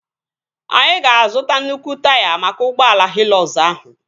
Anyị ga-azuta nnukwu taya maka ụgbọala Hịlọkz ahụ